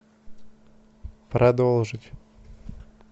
продолжить